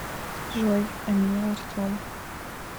джой а меня артем